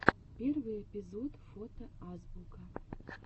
первый эпизод фото азбука